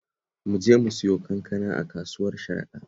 Mu je mu sayo kanka a kasuwar Sharaɗa